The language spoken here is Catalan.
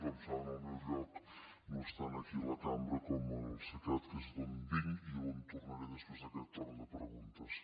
com saben el meu lloc no és tant aquí a la cambra com al cecat que és d’on vinc i on tornaré després d’aquest torn de preguntes